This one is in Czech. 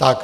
Tak.